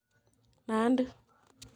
Nandi